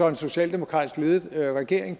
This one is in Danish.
en socialdemokratisk ledet regering